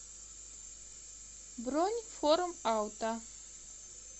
бронь форум авто